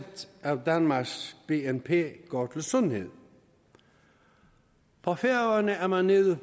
af danmarks bnp går til sundhed på færøerne er man nede